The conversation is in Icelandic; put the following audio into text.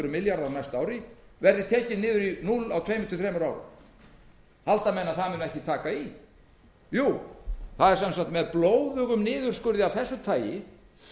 á næsta ári verði tekinn niður í núll á tveim til þremur árum halda menn að það muni ekki taka í jú það er sem sagt með blóðugum niðurskurði af þessu tagi